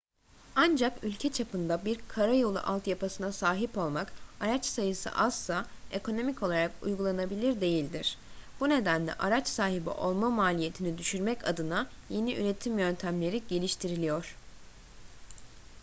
ancak ülke çapında bir karayolu altyapısına sahip olmak araç sayısı azsa ekonomik olarak uygulanabilir değildir bu nedenle araç sahibi olma maliyetini düşürmek adına yeni üretim yöntemleri geliştiriliyor